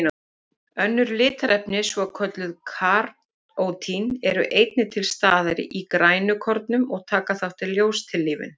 Önnur litarefni, svokölluð karótín, eru einnig til staðar í grænukornum og taka þátt í ljóstillífun.